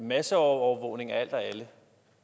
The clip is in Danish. masseovervågning af alt og alle